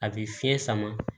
A bɛ fiɲɛ sama